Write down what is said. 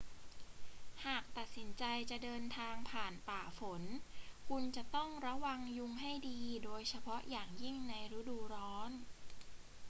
หากตัดสินใจจะเดินทางผ่านป่าฝน คุณจะต้องระวังยุงให้ดี โดยเฉพาะอย่างยิ่งในฤดูร้อน